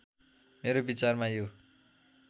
मेरो विचारमा यो